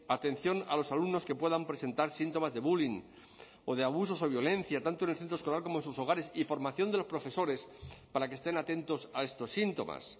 atención a los alumnos que puedan presentar síntomas de bullying o de abusos o violencia tanto en el centro escolar como en sus hogares y formación de los profesores para que estén atentos a estos síntomas